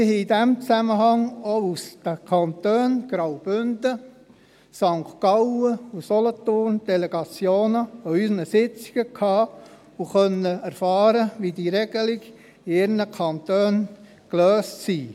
Wir haben in diesem Zusammenhang auch Delegationen aus den Kantonen Graubünden, St. Gallen und Solothurn an unseren Sitzungen empfangen und konnten erfahren, wie diese Regelungen in ihren Kantonen gelöst haben.